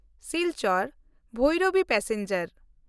Silchar Bhairabi passenger